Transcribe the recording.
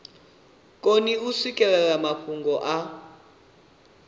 koni u swikelela mafhungo a